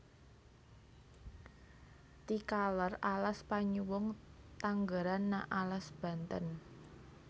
Ti kaler alas Panyawung tanggeran na alas Banten